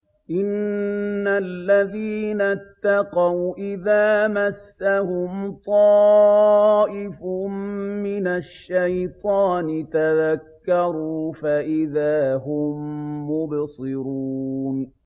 إِنَّ الَّذِينَ اتَّقَوْا إِذَا مَسَّهُمْ طَائِفٌ مِّنَ الشَّيْطَانِ تَذَكَّرُوا فَإِذَا هُم مُّبْصِرُونَ